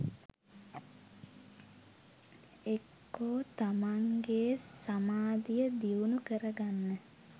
එක්කො තමන්ගේ සමාධිය දියුණු කරගන්න